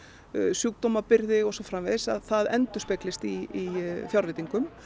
sjúkdómabyrgði og svo framvegis að það endurspeglist í fjárveitingum